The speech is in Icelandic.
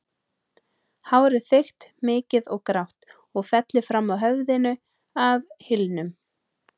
Hárið þykkt, mikið og grátt og fellur fram af höfðinu að hylnum.